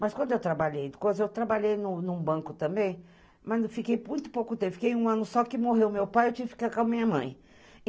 Mas quando eu trabalhei, depois eu trabalhei num banco também, mas eu fiquei muito pouco tempo, fiquei um ano só que morreu meu pai, eu tive que ficar com a minha mãe.